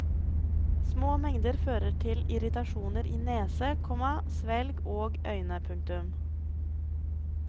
Små mengder fører til irritasjoner i nese, komma svelg og øyne. punktum